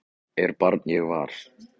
er barn ég var